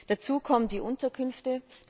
Dazu kommen die Unterkünfte.